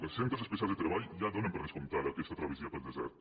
els centres especials de treball ja donen per descomp·tada aquesta travessia pel desert